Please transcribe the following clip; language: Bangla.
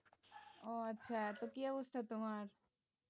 ও আচ্ছা তো কি অবস্থা তোমার?